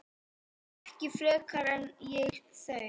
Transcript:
Ekki frekar en ég þau.